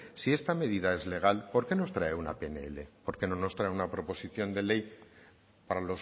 si esta medida es legal por qué nos trae una pnl porque no nos trae una proposición de ley para